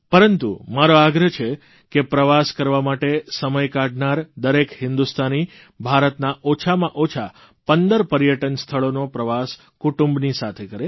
પરંતુ મારો આગ્રહ છે કે પ્રવાસ કરવા માટે સમય કાઢનાર દરેક હિંદુસ્તાની ભારતના ઓછામાં ઓછા 15 પર્યટન સ્થળોનો પ્રવાસ કુટુંબની સાથે કરે